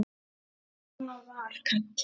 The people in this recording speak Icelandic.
Svona var Kalla.